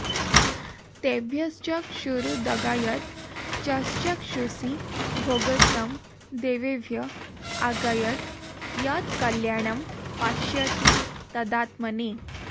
तेभ्यश्चक्षुरुदगायद् यश्चक्षुषि भोगस्तं देवेभ्य आगायद् यत्कल्याणं पश्यति तदात्मने